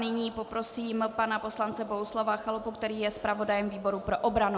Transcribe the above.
Nyní poprosím pana poslance Bohuslava Chalupu, který je zpravodajem výboru pro obranu.